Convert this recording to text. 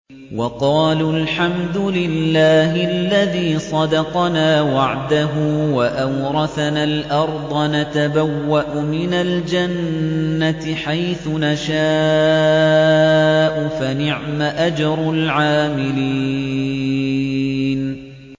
وَقَالُوا الْحَمْدُ لِلَّهِ الَّذِي صَدَقَنَا وَعْدَهُ وَأَوْرَثَنَا الْأَرْضَ نَتَبَوَّأُ مِنَ الْجَنَّةِ حَيْثُ نَشَاءُ ۖ فَنِعْمَ أَجْرُ الْعَامِلِينَ